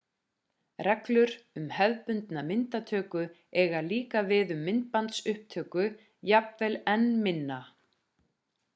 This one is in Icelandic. reglur um hefðbundna myndatöku eiga líka við um myndbandsupptöku jafnvel enn meira